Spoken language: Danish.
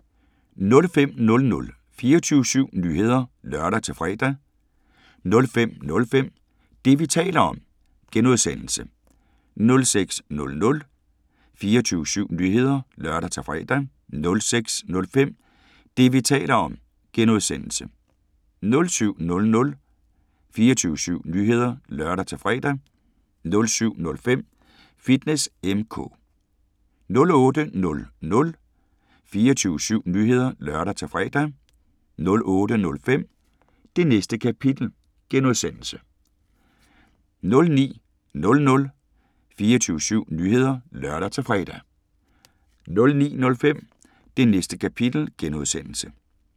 05:00: 24syv Nyheder (lør-fre) 05:05: Det, vi taler om (G) 06:00: 24syv Nyheder (lør-fre) 06:05: Det, vi taler om (G) 07:00: 24syv Nyheder (lør-fre) 07:05: Fitness M/K 08:00: 24syv Nyheder (lør-fre) 08:05: Det Næste Kapitel (G) 09:00: 24syv Nyheder (lør-fre) 09:05: Det Næste Kapitel (G)